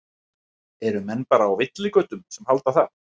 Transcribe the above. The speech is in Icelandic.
Eru menn bara á villigötum sem halda það?